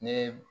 Ne ye